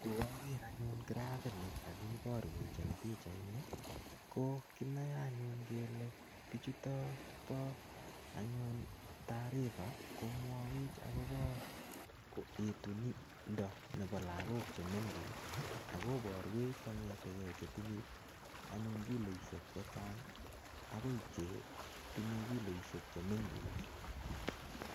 Ko kaker anyun grafit ne kakiborwech eng pichait ni, ko kinae anyun kele bichutok bo anyun taarifa komwawech akobo etunindo nebo lagok che mengech. Akobarwech kong'etege chetinye anyun kiloishek chechang' akoi chetinye kiloishek che mengech.